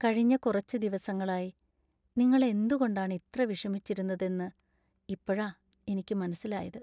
കഴിഞ്ഞ കുറച്ച് ദിവസങ്ങളായി നിങ്ങൾ എന്തുകൊണ്ടാണ് ഇത്ര വിഷമിച്ചതിരുന്നത് എന്ന് ഇപ്പോഴാ എനിക്ക് മനസിലായത്.